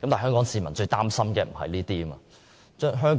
然而，香港市民最擔心的並非這些問題，